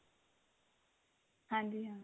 ਹਾਂਜੀ ਹਾਂ